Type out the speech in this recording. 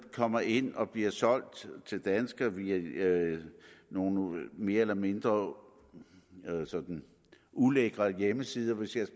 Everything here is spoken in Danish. kommer ind og bliver solgt til danskere via nogle mere eller mindre ulækre hjemmesider hvis jeg